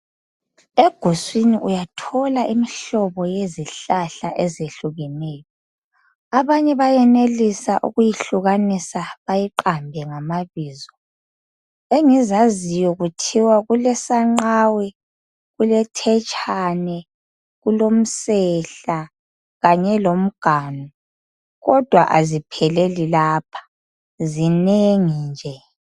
Eguswini uyathola imihlobo yezihlahla ezehlukeneyo abanye bayenelisa ukuyehlukanisa bayiqambe ngamabizo engizaziyo kulthiwa kulesanqawe ,kulethetshane, kulomsehla kanye lomnganu kodwa azipheleli lapha zinengi nje.